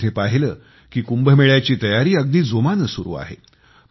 मी तिथे पाहिलं की कुंभमेळ्याची तयारी अगदी जोमाने सुरु आहे